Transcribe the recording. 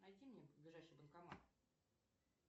найди мне ближайший банкомат